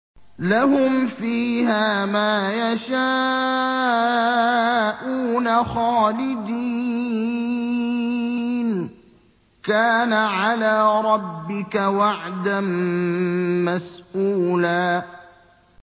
لَّهُمْ فِيهَا مَا يَشَاءُونَ خَالِدِينَ ۚ كَانَ عَلَىٰ رَبِّكَ وَعْدًا مَّسْئُولًا